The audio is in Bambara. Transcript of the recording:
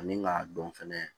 Ani k'a dɔn fɛnɛ